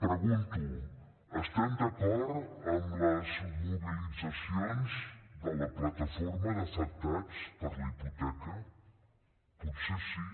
pregunto estem d’acord amb les mobilitzacions de la plataforma d’afectats per la hipoteca potser sí